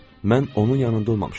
Mən onun yanında olmamışam.